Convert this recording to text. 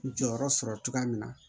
Jɔyɔrɔ sɔrɔ cogoya min na